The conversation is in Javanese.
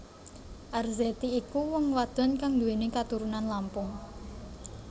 Arzetti iku wong wadon kang nduwèni katurunan Lampung